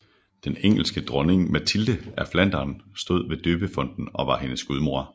Den engelske dronning Matilde af Flandern stod ved døbefonten og var hendes gudmor